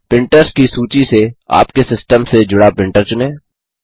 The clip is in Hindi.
प्रिंटर्स की सूची से आपके सिस्टम से जुड़ा प्रिंटर चुनें